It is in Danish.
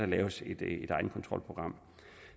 laves et egenkontrolprogram